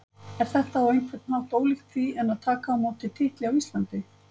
Er þetta á einhvern hátt ólíkt því en að taka á móti titli á Íslandi?